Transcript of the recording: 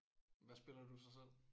Hvad spiller du så selv?